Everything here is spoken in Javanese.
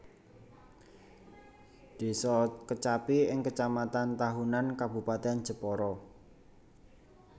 Désa Kecapi ing Kecamatan Tahunan Kabupatèn Jepara